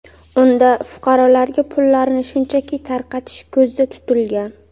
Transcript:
Unda fuqarolarga pullarni shunchaki tarqatish ko‘zda tutilgan.